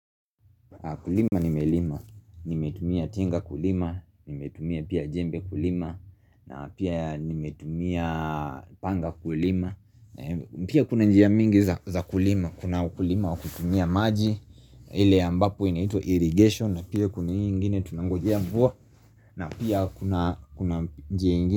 Kulima nimelima, nimetumia tinga kulima, nimetumia pia jembe kulima, na pia nimetumia panga kulima. Pia kuna njia mingi za kulima, kuna ukulima wa kutumia maji, ile ambapo inaitwa irrigation, na pia kuna hii ingine tunangojea mvua, na pia kuna njia ingine.